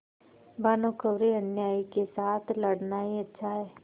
भानुकुँवरिअन्यायी के साथ लड़ना ही अच्छा है